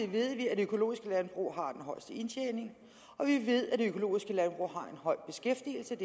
ved vi at økologiske landbrug har den højeste indtjening og vi ved at økologiske landbrug har en høj beskæftigelse